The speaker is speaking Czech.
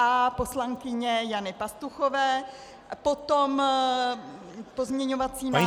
A poslankyně Jany Pastuchové, potom pozměňovací návrh -